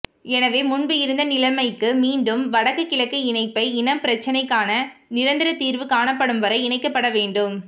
எனவே முன்பு இருந்த நிலைமைக்கு மீண்டும் வடக்கு கிழக்கு இணைப்பை இனப்பிரச்சினைக்கான நிரந்தரத் தீர்வு காணப்படும் வரை இணைக்கப்படவேண்டும்